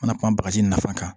Mana kuma bagaji nafa kan